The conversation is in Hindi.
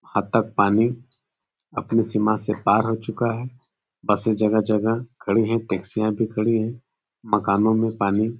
यहाँ तक पानी अपनी सीमा से पार हो चुका है। बसें जगह-जगह खड़ी हैं टैक्सियां भी खड़ी हैं। मकानों में पानी --